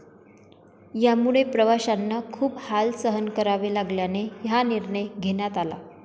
यामुळे प्रवाशांना खूप हाल सहन करावे लागल्याने हा निर्णय घेण्यात आला.